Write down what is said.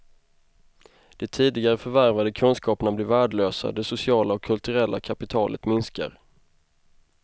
De tidigare förvärvade kunskaperna blir värdelösa, det sociala och kulturella kapitalet minskar.